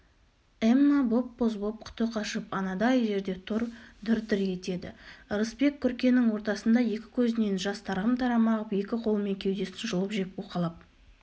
эмма боп-боз боп құты қашып анадай жерде тұр дір-дір етеді ырысбек күркенің ортасында екі көзінен жас тарам-тарам ағып екі қолымен кеудесін жұлып жеп уқалап